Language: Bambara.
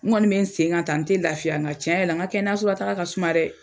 N ŋɔni bɛ n sen kan taa n tɛ lafiya ka tiɲɛ yɛrɛ la n ka kɛnɛyasola taaga ka suma dɛ.